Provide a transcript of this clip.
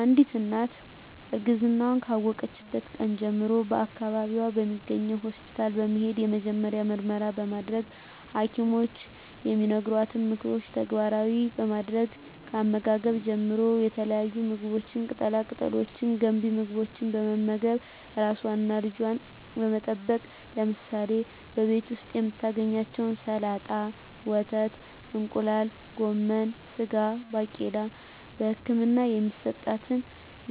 አንዲት እናት እርግዝናዋን ካወቀችበት ቀን ጀምሮ በአካባቢዋ በሚገኝ ሆስፒታል በመሄድ የመጀመሪያ ምርመራ በማድረግ በሀኪሞች የሚነገሯትን ምክሮች ተግባራዊ በማድረግ ከአመጋገብ ጀምሮ የተለያዩ ምግቦች ቅጠላ ቅጠሎች ገንቢ ምግቦች በመመገብ ራሷንና ልጇን በመጠበቅ ለምሳሌ በቤት ዉስጥ የምታገኛቸዉን ሰላጣ ወተት እንቁላል ጎመን ስጋ ባቄላ በህክምና የሚሰጣትን